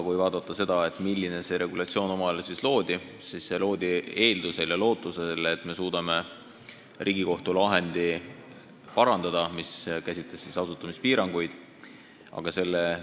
Kui mõelda, milleks see regulatsioon omal ajal loodi, siis see loodi lootusega, et me suudame asutamispiiranguid käsitlenud Riigikohtu lahendit arvestada.